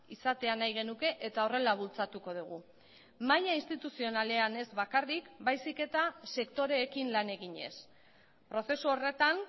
izatea nahi genuke eta horrela bultzatuko dugu maila instituzionalean ez bakarrik baizik eta sektoreekin lan eginez prozesu horretan